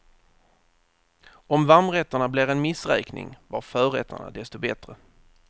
Om varmrätterna blev en missräkning var förrätterna desto bättre.